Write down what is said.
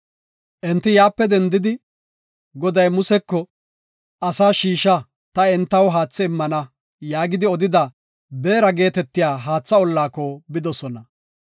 Enti yaape dendidi, Goday Museko, “Asaa shiisha; ta entaw haathe immana” yaagidi odida Beera geetetiya haatha ollaako bidosona.